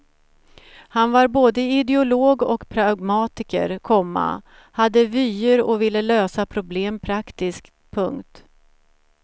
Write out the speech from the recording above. Han var både ideolog och pragmatiker, komma hade vyer och ville lösa problem praktiskt. punkt